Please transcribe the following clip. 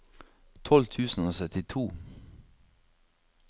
tolv tusen og syttito